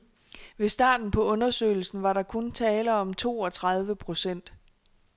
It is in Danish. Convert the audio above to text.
Ved starten på undersøgelsen var der kun tale om to og tredive procent.